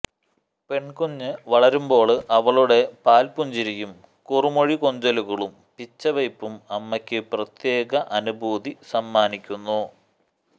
പെണ്കുഞ്ഞു വളരുമ്പോള് അവളുടെ പാല് പുഞ്ചിരിയും കുറു മൊഴി കൊഞ്ചലുകളും പിച്ചവയ്പും അമ്മയ്ക്കു പ്രത്യേക അനുഭൂതി സമ്മാനിക്കുന്നു